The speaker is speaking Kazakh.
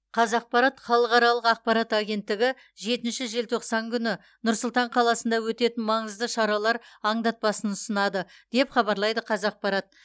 қазақпарат халықаралық ақпарат агенттігі жетінші желтоқсан күні нұр сұлтан қаласында өтетін маңызды шаралар аңдатпасын ұсынады деп хабарлайды қазақпарат